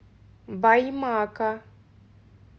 баймака